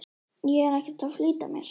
Ég er ekkert að flýta mér.